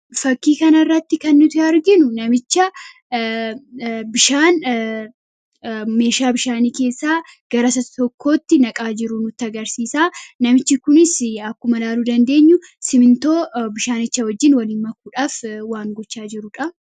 Suuraa kanaa gadii irratti kan argamu nama bishaan meeshaa tokko keessaa gara kan biraatti dabarsaa jiruu dha. Innis simintoo bishaanicha waliin kan ittiin wal makaa jiruu dha.